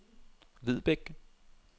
Vedbæk